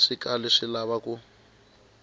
swi kali swi lava u